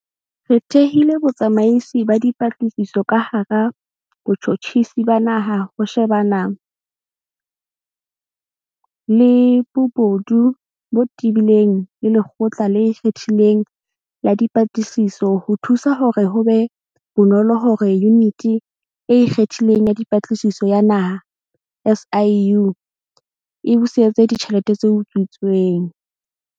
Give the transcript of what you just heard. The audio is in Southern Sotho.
Re thehile Botsamaisi ba Dipatlisiso ka hara Botjhotjhisi ba Naha ho shebana le bobodu bo tebileng le Lekgotla le Ikgethileng la Dipatlisiso ho thusa hore ho be bonolo hore Yuniti e Ikgethileng ya Dipatlisiso ya Naha, SIU, e busetse ditjhelete tse utswitsweng.